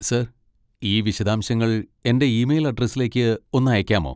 Sir, ഈ വിശദാംശങ്ങൾ എൻ്റെ ഇമെയിൽ അഡ്രസ്സിലേക്ക് ഒന്ന് അയക്കാമോ?